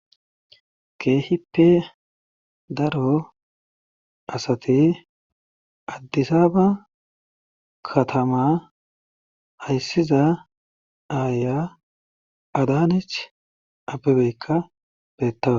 keehippe daro asati addisaaba katama hayssiza aaya adanech abbebeykka beettawa